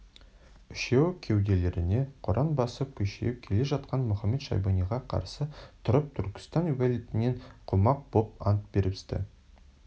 үшеуі кеуделеріне құран басып күшейіп келе жатқан мұхамед-шайбаниға қарсы тұрып түркістан уәлиетінен қумақ боп ант берісті